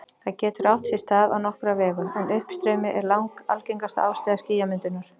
Það getur átt sér stað á nokkra vegu, en uppstreymi er langalgengasta ástæða skýjamyndunar.